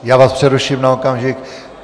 Já vás přeruším na okamžik.